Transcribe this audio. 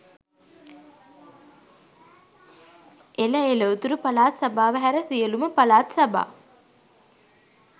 එල එල උතුරු පලාත් සභාව හැර සියලුම පලාත් සභා